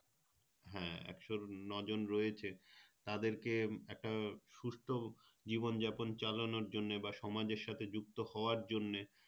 হ্যাঁ একশো নয় জন রয়েছে তাদেরকে একটা সুস্থ জীবনযাপন চালানোর জন্যে বা সমাজের সাথে যুক্ত হওয়ার জন্যে